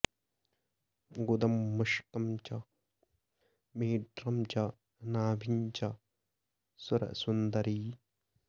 गुदं मुष्कं च मेढ्रं च नाभिं च सुरसुन्दरी